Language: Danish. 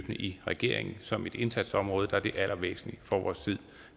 i regeringen som et indsatsområde er det det allervæsentligste for vores tid